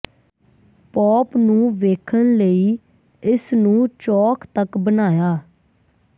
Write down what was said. pop ਨੂੰ ਵੇਖਣ ਲਈ ਇਸ ਨੂੰ ਚੌਕ ਤੱਕ ਬਣਾਇਆ